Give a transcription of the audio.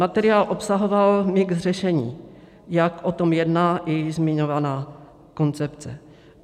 Materiál obsahoval mix řešení, jak o tom jedná i zmiňovaná koncepce.